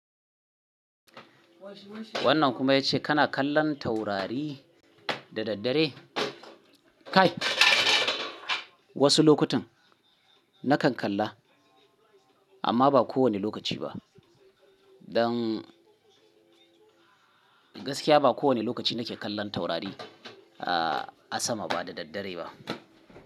Wannan kuma ya ce kana kallon taurari da daddare? Kai, wasu lokutan na kan kalla, amma ba kowane lokaci ba. Don gaskiya ba kowane lokaci nake kallon taurari a sama ba, da daddare ba.